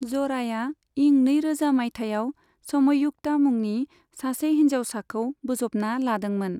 जराया इं नैरोजा माइथायाव समयुक्ता मुंनि सासे हिनजावसाखौ बोजबना लादोंमोन।